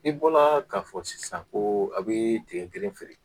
I bɔla k'a fɔ sisan ko a' bɛ tigɛ kelen feere